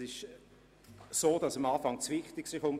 Es ist so, dass am Anfang das Wichtigste kommt.